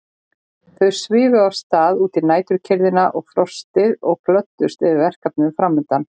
Þau svifu af stað út í næturkyrrðina og frostið og glöddust yfir verkefninu framundan.